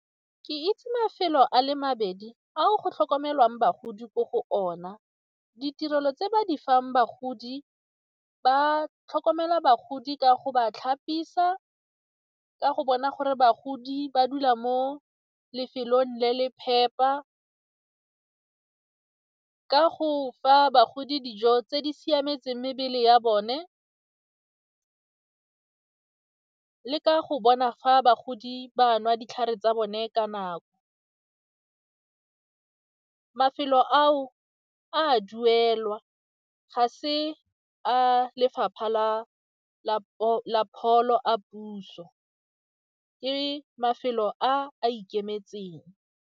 Ke itse mafelo a le mabedi ao go tlhokomelwang bagodi ko go ona. Ditirelo tse ba di fang bagodi ba tlhokomela bagodi ka go ba tlhapisa, ka go bona gore bagodi ba dula mo lefelong le le phepa, ka go fa bagodi dijo tse di siametseng mebele ya bone, ka go bona fa bagodi ba nwa ditlhare tsa bone ka nako. Mafelo ao a duelwa, ga se a lefapha la pholo, a puso ke mafelo a a ikemetseng.